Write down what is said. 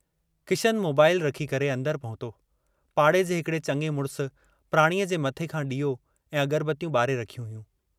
Kishan mobile रखी करे अन्दर पहुतो, पाड़े जे हिकिड़े चङे मुड़िस प्राणीअ जे मथे खां ॾीओ ऐं अगरबत्तियूं ॿारे रखियूं हुयूं।